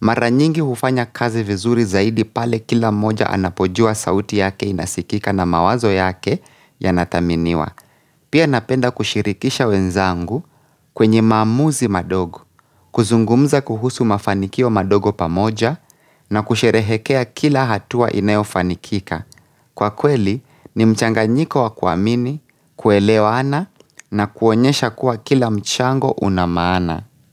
Maranyingi ufanya kazi vizuri zaidi pale kila moja anapojua sauti yake inasikika na mawazo yake yanathaminiwa. Pia napenda kushirikisha wenzangu kwenye maamuzi madogo, kuzungumza kuhusu mafanikio madogo pamoja na kusherehekea kila hatua inayo fanikika. Kwa kweli ni mchanganyiko wa kuamini, kuelewana na kuonyesha kuwa kila mchango unamaana.